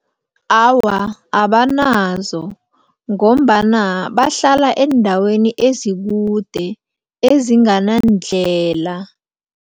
Awa, abanazo ngombana bahlala eendaweni ezikude, ezinganandlela.